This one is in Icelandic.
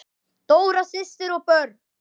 Dóra systir og börn.